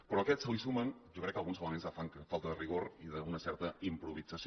però a aquest se li sumen jo crec que alguns elements de falta de rigor i d’una certa improvisació